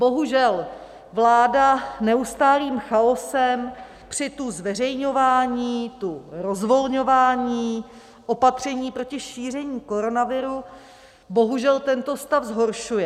Bohužel vláda neustálým chaosem při tu zveřejňování, tu rozvolňování opatření proti šíření koronaviru bohužel tento stav zhoršuje.